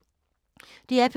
DR P2